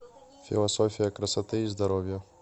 философия красоты и здоровья